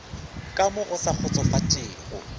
ka mo go sa kgotsofatšego